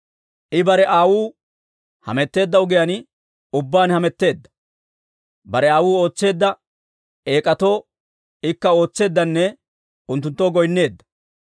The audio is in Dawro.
I bare aawuu hametteedda ogiyaan ubbaan hametteedda; bare aawuu ootseedda eek'atoo ikka ootseeddanne unttunttoo goynneedda.